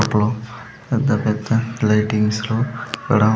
అప్పట్లో పెద్ద పెద్ద లైటింగ్స్‌ లో అక్కడ.